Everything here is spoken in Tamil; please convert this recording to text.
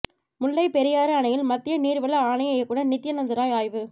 முல்லைப் பெரியாறு அணையில் மத்திய நீர்வள ஆணைய இயக்குநர் நித்யநந்து ராய் ஆய்வு